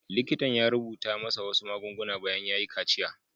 Likitan ya rubuta masa wasu magunguna bayan ya yi kaciya.